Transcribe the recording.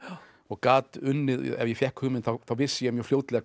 og gat unnið ef ég fékk hugmynd þá vissi ég mjög fljótlega